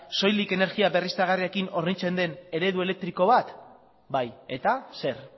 soilik energia berriztagarriekin hornitzen den eredu elektriko bat bai eta zer